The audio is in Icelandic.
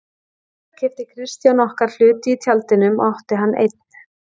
Síðar keypti Kristján okkar hluti í Tjaldinum og átti hann einn.